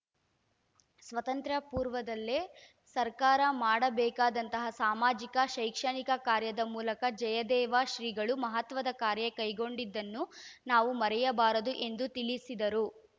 ಸ್ವಾತಂತ್ರ್ಯ ಪೂರ್ವದಲ್ಲೇ ಸರ್ಕಾರ ಮಾಡಬೇಕಾದಂತಹ ಸಾಮಾಜಿಕ ಶೈಕ್ಷಣಿಕ ಕಾರ್ಯದ ಮೂಲಕ ಜಯದೇವ ಶ್ರೀಗಳು ಮಹತ್ವದ ಕಾರ್ಯ ಕೈಗೊಂಡಿದ್ದನ್ನು ನಾವು ಮರೆಯಬಾರದು ಎಂದು ತಿಳಿಸಿದರು